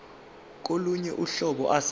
kolunye uhlobo ase